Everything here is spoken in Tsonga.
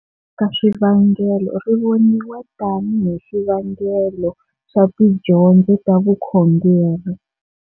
Ka swivangelo, rivoniwa tani hi xivangelo xa tidyondzo ta Vukhongeri.